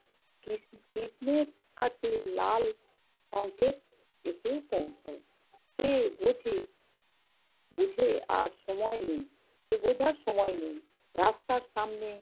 কৃষ~ কৃষ্ণের কাছে লাল সঙ্কেত এসে পৌঁছায়। সে বোঝে বোঝে আর সময় নেয়, সে বোঝার সময় নেয়। রাস্তার সামনে